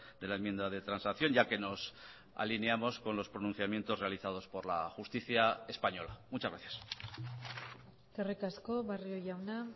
de la enmienda de transacción ya que nos alineamos con los pronunciamientos realizados por la justicia española muchas gracias eskerrik asko barrio jauna